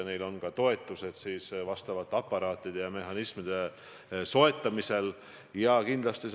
Tänan, austatud Riigikogu liige, aktuaalse ja vajaliku teema käsitlemise eest!